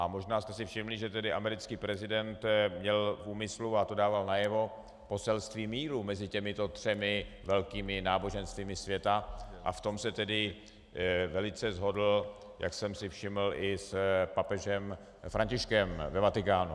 A možná jste si všimli, že tedy americký prezident měl v úmyslu, a to dával najevo, poselství míru mezi těmito třemi velkými náboženstvími světa a v tom se tedy velice shodl, jak jsem si všiml, i s papežem Františkem ve Vatikánu.